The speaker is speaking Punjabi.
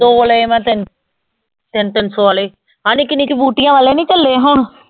ਦੋ ਲਏ ਮੈਂ ਤਿਨ, ਤਿੰਨ ਤਿੰਨ ਸੋ ਆਲੇ, ਹਾ ਨਿੱਕੀ ਨਿੱਕੀ ਬੂਟੀਆਂ ਵਾਲੇ ਨੀ ਚੱਲੇ ਹੁਣ।